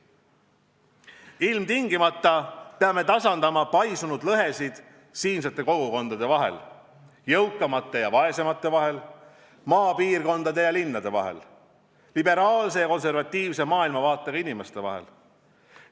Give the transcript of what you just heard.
Ilmtingimata peame tasandama paisunud lõhesid siinsete kogukondade vahel: jõukamate ja vaesemate vahel; maapiirkondade ja linnade vahel; liberaalse ja konservatiivse maailmavaatega inimeste vahel.